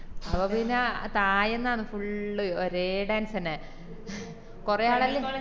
അത്കൊണ്ട് പിന്നെ തായെന്നാണ് full ഒരേ dance എന്നെ കൊറേ ആളെല്ലാം